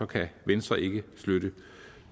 kan venstre ikke støtte